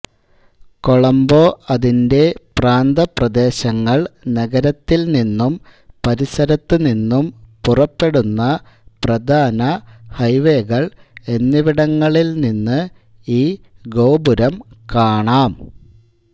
കൊളംബോ അതിന്റെ പ്രാന്തപ്രദേശങ്ങൾ നഗരത്തിൽ നിന്നും പരിസരത്തുനിന്നും പുറപ്പെടുന്ന പ്രധാന ഹൈവേകൾ എന്നിവിടങ്ങളിൽ നിന്ന് ഈ ഗോപുരം കാണാം